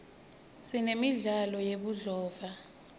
sinemidlalo yebudlova